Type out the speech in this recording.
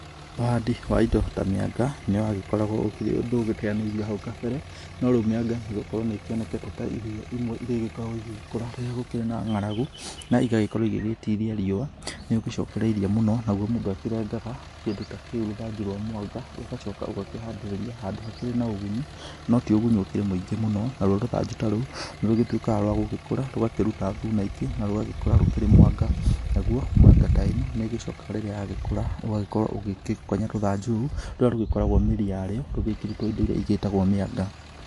Ũhandi wa indo ta mĩanga nĩ wagĩkoragwo ũkĩrĩ ũndũ ũgĩteanĩirio hau kambere no rĩu mĩanga nĩgũkorwo nĩ ĩkĩonekanĩte ta irio imwe irĩa igĩkoragwo igĩgĩkũra rĩrĩa gũkĩrĩ na ngaragu na igagĩkorwo igĩgĩtira riũa nĩ ũgĩcokereirie mũno, nagũo mũndũ akĩreganga kĩndũ ta kĩu rũthanju rwa mwanga ũgagĩcoka ũgakĩhandĩrĩria handũ hakĩrĩ na ũgunyu no ti ũgunyu ũkĩrĩ mũingĩ mũno na rũo rũthanju ta rũu nĩ rũgĩtũĩkaga rwa gũgĩkũra rũgakĩruta thuna ingĩ na rũgagĩkũra rũkĩrĩ mwanga, nayo mĩanga ta ĩno nĩ ĩgĩcokaga rĩrĩa ya gĩkũra ũgagĩkorwo ũgĩkĩgonya rũthanju rũu rũrĩa rũgĩkoragwo mĩri yario rũgĩkĩrĩtwo indo iria igĩtagwo mĩaga.